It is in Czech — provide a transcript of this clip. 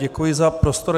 Děkuji za prostor.